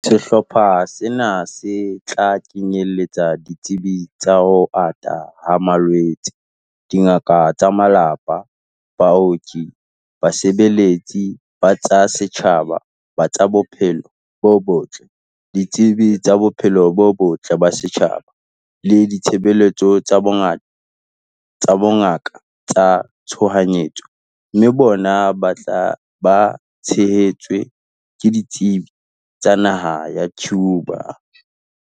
Sehlopha sena se tla kenyeletsa ditsebi tsa ho ata ha malwetse, dingaka tsa malapa, baoki, basebeletsi ba tsa setjhaba ba tsa bophelo bo botle, ditsebi tsa bophelo bo botle ba setjhaba le ditshebeletso tsa bongaka tsa tshohanyetso, mme bona ba tshehetswe ke ditsebi tsa naha ya Cuba.